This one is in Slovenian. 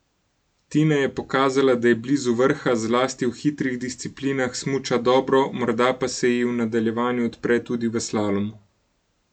Tina je pokazala, da je blizu vrha, zlasti v hitrih disciplinah smuča dobro, morda pa se ji v nadaljevanju odpre tudi v slalomu.